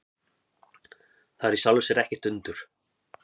Það er í sjálfu sér ekkert undur.